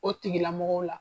O tigilamɔgɔ la.